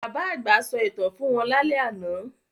Bàbá àgbà sọ ìtàn fún wọn lálẹ́ àná